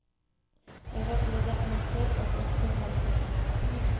Jag var både andfådd och omtumlad. punkt